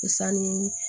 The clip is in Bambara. Sanni